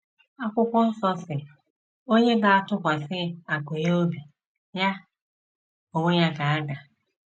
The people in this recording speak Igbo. Akwụkwọ Nsọ sị, “ Onye na - atụkwasị akụ ya obi - ya onwe ya, ga ada.